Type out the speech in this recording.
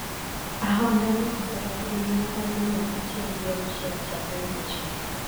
Ahondano oselal gi ngima dhano mia achiel gi auchiel chakre muochne.